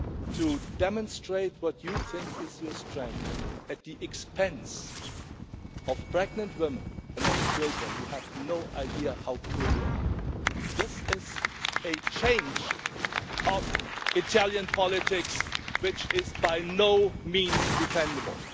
to demonstrate what you think is your strength at the expense of pregnant women and children, you have no idea how poor you are. This is a change in Italian politics which is by no means defendable.